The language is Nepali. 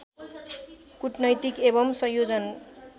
कुटनैतिक एवम् संयोजन